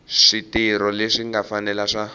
switirho leswi nga fanela swa